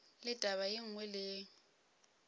le taba ye nngwe le